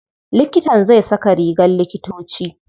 Likitan zai saka rigar likitoci.